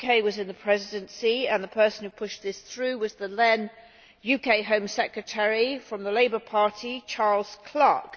The UK was in the Presidency, and the person who pushed this through was the then UK Home Secretary from the Labour Party, Charles Clarke.